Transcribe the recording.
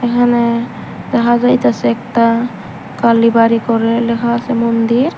এখানে দেখা যাইতাসে একতা কালিবাড়ি করে লেখা আসে মন্দির।